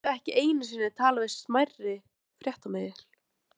Það var undarleg upplifun að vera komin til mömmu í